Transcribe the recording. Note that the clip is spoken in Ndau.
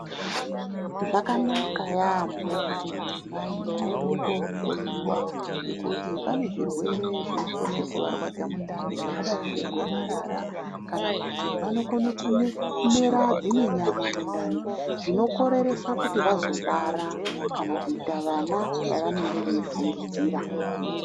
Zvakanaka yaambo kuti madzimai aende kohloyiwa ngekuti pane zvirwere zvinokone kuvarwadza mundani zvakadai ngegomarara, kana kuti vanokone kumera dzimwe nyama mundani zvinokoreresa kuti vazobara kana kuita vana vavanenge veifungidzira.